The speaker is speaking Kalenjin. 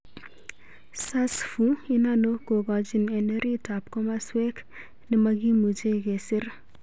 sarsfu inano kokochich en orit ap komoswek nemakimuche kesir